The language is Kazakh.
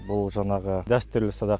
бұл жаңағы дәстүрлі садақ